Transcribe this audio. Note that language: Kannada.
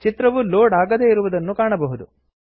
ಚಿತ್ರವು ಲೋಡ್ ಆಗದೇ ಇರುವುದನ್ನು ಕಾಣಬಹುದು